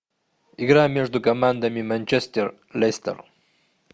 игра между командами манчестер лестер